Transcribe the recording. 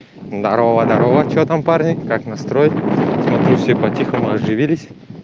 здорово здорово что там парни как настрой смотрю все по тихому оживились